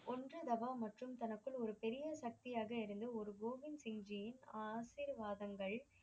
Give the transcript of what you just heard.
ஒன்ருதவா தனக்குள் ஒரு பெரிய சக்தியாக இருந்து ஒரு கோவிந்த் சிங் ஜியின் ஆசிர்வாதங்கள்